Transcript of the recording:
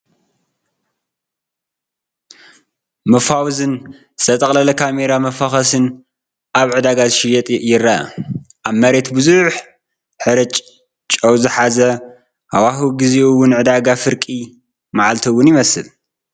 መፋወዝን ዝተጠቕለለ ካሜራ መፋኾሲን ኣብ ዕዳጋ ዝሽየጥ ይረአ። ኣብ መሬት ብዙሕ ሕርጭ፡ ጨው ዝሓዘን ሃዋህው ጊዜኡ ውን ዕዳጋ ፍርቂ መዓልቲ እውን ይመስል።